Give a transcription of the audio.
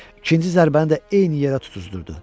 İkinci zərbəni də eyni yerə tutuzdurdu.